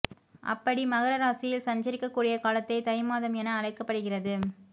அப்படி மகர ராசியில் சஞ்சரிக்கக்கூடிய காலத்தை தை மாதம் என அழைக்கப்படுகிறது